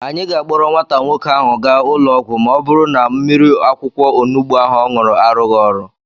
Anyị ga-akpọrọ nwata nwoke ahụ gaa ụlọ ọgwụ ma ọ bụrụ na mmiri akwukwọ onubu ọ ṅụrụ arụghị ọrụ.